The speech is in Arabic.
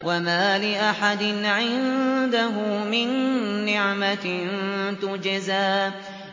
وَمَا لِأَحَدٍ عِندَهُ مِن نِّعْمَةٍ تُجْزَىٰ